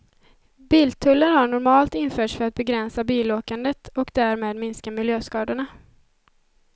Biltullar har normalt införts för att begränsa bilåkandet och därmed minska miljöskadorna.